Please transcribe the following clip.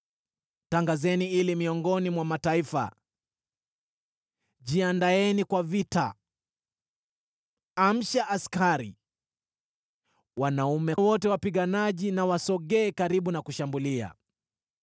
Tangazeni hili miongoni mwa mataifa: Jiandaeni kwa vita! Amsha askari! Wanaume wote wapiganaji wasogee karibu na kushambulia.